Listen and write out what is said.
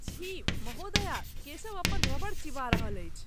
छी ! महोदया, केशव अपन रबड़ चिबा रहल अछि।